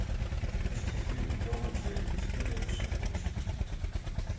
запусти фильм том и джерри история о щелкунчике